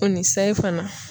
O ni sayi fana.